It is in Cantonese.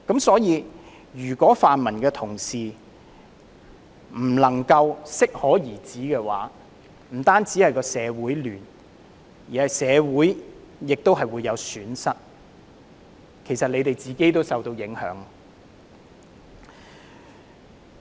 所以，如果泛民同事不能夠適可而止，不但會造成社會混亂，亦會令社會損失，他們自己也會受到影響。